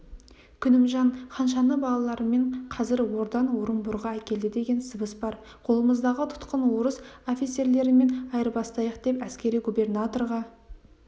күнімжан ханшаны балаларымен қазір ордан орынборға әкелді деген сыбыс бар қолымыздағы тұтқын орыс офицерлерімен айырбастайық деп әскери губернаторға